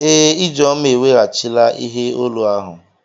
Ee, Ijeoma eweghachila ihe olu ahụ.